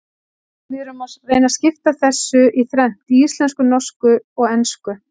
Við reynum að skipta þessu í þrennt, í íslensku, norsku og ensku.